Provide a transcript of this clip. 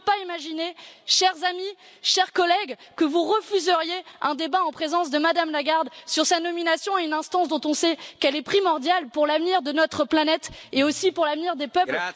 Je ne peux pas imaginer, chers amis, chers collègues, que vous refusiez un débat en présence de Mme Lagarde sur sa nomination à une instance dont on sait qu'elle est primordiale pour l'avenir de notre planète et aussi pour l'avenir des peuples.